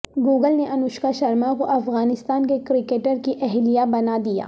Google نے انوشکا شرما کو افغانستان کے کرکٹر کی اہلیہ بنادیا